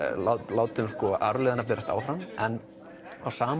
látum arfleifðina berast áfram en á sama